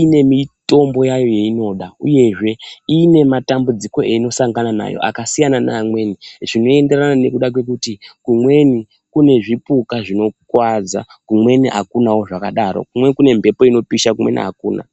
ine mitombo yayo yeinoda uyezve ine matambudziko einosangana nayo akasiyana neamweni zvinoenderana nekuti kumweni kune zvipuka zvinokuwadza kumweni akunawo zvakadaro kumweni kune mhepo inopisha kumweni hakuna.